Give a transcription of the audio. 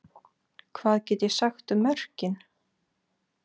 Hvað get ég sagt um mörkin?